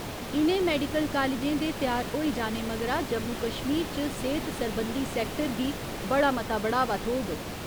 इ'नें मैडिकल कालजें दे त्यार होई जाने मगरा जम्मू कश्मीर च सेह्‌त सरबंधी सैक्टर गी बड़ा मता बढ़ावा थ्होग।